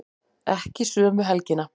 Ekki sömu helgina.